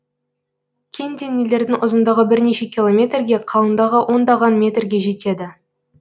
кен денелердің ұзындығы бірнеше километрге қалыңдығы ондаган метрге жетеді